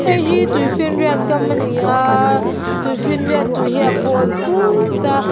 heihi tuifinriat kam ani aaa tuifinriat tui hi a pawl phut a.